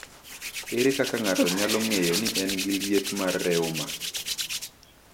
Ere kaka ng’ato nyalo ng’eyo ni en gi liet mar reuma?